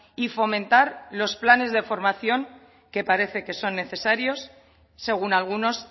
y fomentar los planes de formación que parece que son necesarios según algunos